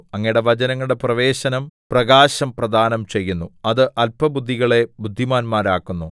അങ്ങയുടെ വചനങ്ങളുടെ പ്രവേശനം പ്രകാശം പ്രദാനം ചെയ്യുന്നു അത് അല്പബുദ്ധികളെ ബുദ്ധിമാന്മാരാക്കുന്നു